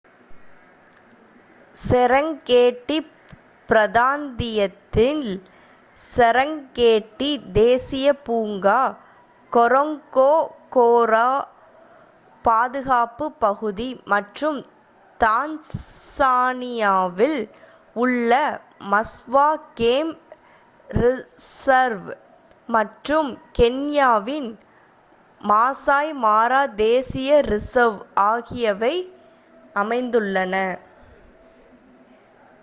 Serengeti பிராந்தியத்தில் Serengeti தேசிய பூங்கா கொரோங்கோரோ பாதுகாப்புப் பகுதி மற்றும் தான்சானியாவில் உள்ள மஸ்வா கேம் ரிசர்வ் மற்றும் கென்யாவின் மாசய் மாரா தேசிய ரிசர்வ் ஆகியவை அமைந்துள்ளன